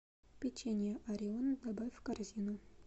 печенье орион добавь в корзину